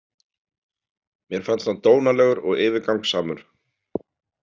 Mér fannst hann dónalegur og yfirgangssamur.